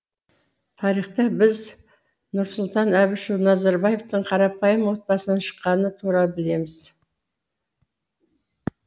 тарихтан біз нұрсұлтан әбішұлы назарбаевтың қарапайым отбасынан шыққаны туралы білеміз